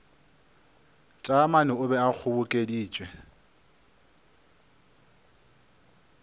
taamane o be a kgobokeditše